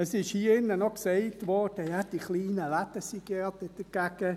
Hier wurde auch gesagt, ja, die kleinen Läden seien dagegen.